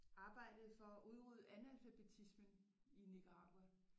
Arbejdede for at udrydde analfabetismen i Nicaragua